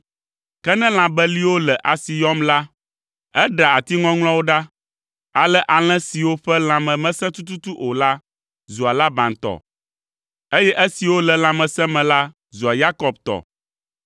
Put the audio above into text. Ke ne lã beliwo le asi yɔm la, eɖea ati ŋɔŋlɔawo ɖa. Ale alẽ siwo ƒe lãme mesẽ tututu o la zua Laban tɔ, eye esiwo le lãmesẽ me la zua Yakob tɔ!